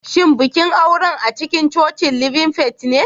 Shin bikin auren acikincocin living faith ne?